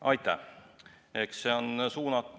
Aitäh!